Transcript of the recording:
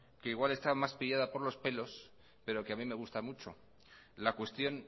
que igual está más pillada por los pelos pero que a mí me gusta mucho la cuestión